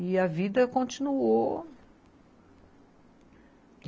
E a vida continuou.